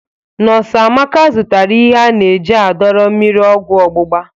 Nọs Amaka zụtara ihe a na-eji adọrọ mmiri ọgwọ ọgbụgba.